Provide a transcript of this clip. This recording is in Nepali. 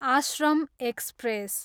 आश्रम एक्सप्रेस